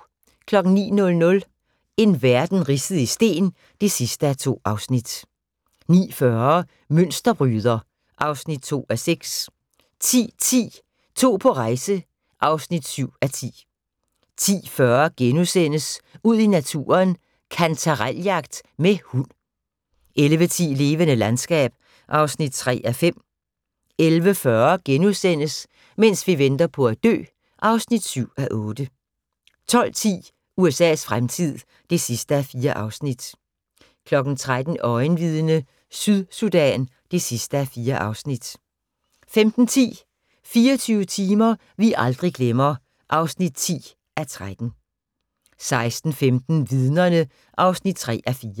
09:00: En verden ridset i sten (2:2) 09:40: Mønsterbryder (2:6) 10:10: To på rejse (7:10) 10:40: Ud i naturen: Kantarel-jagt med hund * 11:10: Levende landskab (3:5) 11:40: Mens vi venter på at dø (7:8)* 12:10: USA's fremtid (4:4) 13:00: Øjenvidne - Sydsudan (4:4) 15:10: 24 timer vi aldrig glemmer (10:13) 16:15: Vidnerne (3:4)